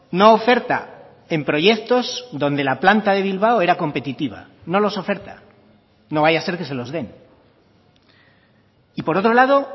no oferta en proyectos donde la planta de bilbao era competitiva no los oferta no vaya a ser que se los den y por otro lado